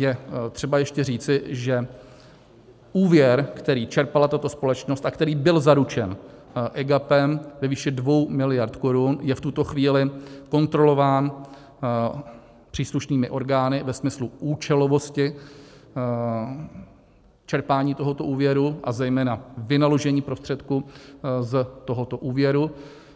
Je třeba ještě říci, že úvěr, který čerpala tato společnost a který byl zaručen EGAPem ve výši 2 miliard korun, je v tuto chvíli kontrolován příslušnými orgány ve smyslu účelovosti čerpání tohoto úvěru, a zejména vynaložení prostředků z tohoto úvěru,